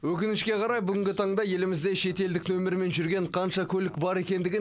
өкінішке қарай бүгінгі таңда елімізде шетелдік нөмірмен жүрген қанша көлік бар екендігін